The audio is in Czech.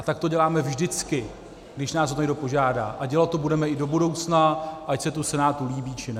A tak to děláme vždycky, když nás o to někdo požádá, a dělat to budeme i do budoucna, ať se to Senátu líbí, či ne.